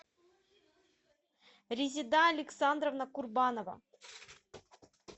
резида александровна курбанова